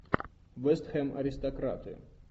вест хэм аристократы